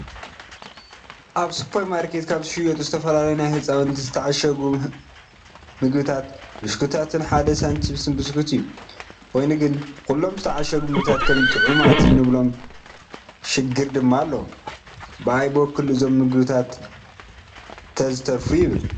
ኣብ ሱፐርማርኬት ካብ ዝሸየጡ ዝተፈላለዩ ናይ ህፃናት ዝተዓሸጉ ምግብታትን ብሽኩቲታትን ሓደ ሳንቺኘስ ብስኩት እዩ፡፡ ኮይኑ ግን ኩሉም ዝተዓሸጉ ምግብታት ከምቲ ጥዑማት እንብሎም ሽግር ድማ ኣለዎም፡፡ ብኣይ በኩል እዞም ምግብታት ተዝተርፉ ይብል፡፡